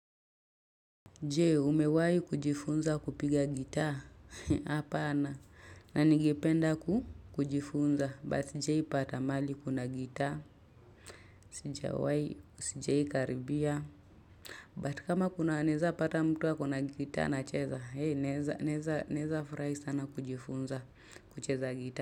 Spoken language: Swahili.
Je umewai kujifunza kupiga gitaa hapana na ningependa kujifunza but sijaipata mali kuna gitaa sijawai sijai karibia but kama kuna naeza pata mtu akona gitaa nacheza hei naeza naeza naeza furai sana kujifunza kucheza gitaa.